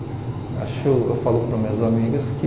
Acho eu falo para as minhas amigas que...